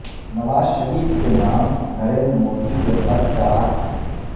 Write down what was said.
نواز شریف کے نام نریندر مودی کے خط کا عکس